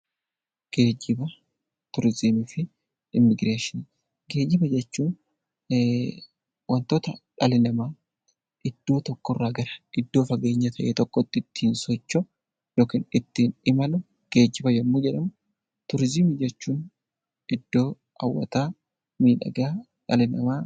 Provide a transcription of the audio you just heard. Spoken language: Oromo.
Geejjiba jechuun wantoota dhalli namaa iddoo tokko irraa iddoo fageenya ta'e tokkotti ittiin socho'u yookiin ittiin imalu geejjiba yommuu jedhamu, turizimii jechuun iddoo hawwataa, miidhagaa dhalli namaa...